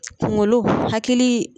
Kuŋolo hakilii